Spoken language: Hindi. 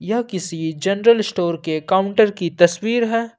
यह किसी जनरल स्टोर के काउंटर की तस्वीर है।